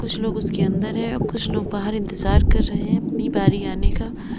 कुछ लोग उसके अंदर हैं कुछ लोग बाहर इंतजार कर रहे हैं अपनी बारी आने का--